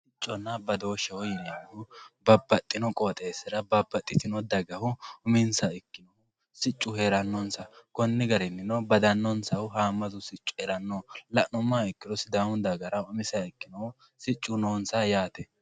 sicconna badooshsheho yineemmohu babbaxxino qooxeessira babbaxxitino dagahu uminsaha ikkinohu siccu heerannonsa konni garinnino badannonsahu haammatu sicci heeranno la'nummoha ikkiro sidaamu dagara umiseha ikkinohu siccu no onsa yaate.